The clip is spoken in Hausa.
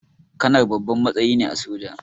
Kanar babban matsayi ne a soja